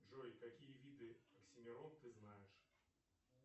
джой какие виды оксимирон ты знаешь